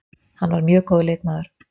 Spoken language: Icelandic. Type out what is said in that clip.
Hann var mjög góður leikmaður.